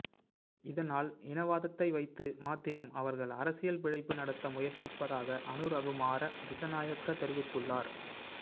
இதனால் இனவாதத்தை வைத்து மாத்திரம் அவர்கள் அரசியல் பிழைப்பு நடத்த முயற்சிப்பதாக அனுரகுமார திசாநயக்க தெரிவித்துள்ளார்